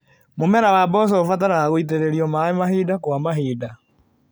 Mũmera wa mboco ũbataraga gwĩtĩrĩrio maĩ mahinda kwa mahinda.